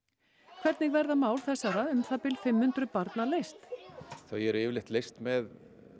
hvernig verða mál þessara um það bil fimm hundruð barna leyst þau eru yfirleitt leyst með